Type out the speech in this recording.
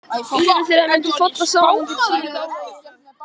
Líkami þeirra mundi falla saman undir þvílíku álagi.